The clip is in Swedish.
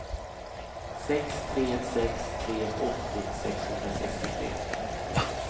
sex tre sex tre åttio sexhundrasextiotre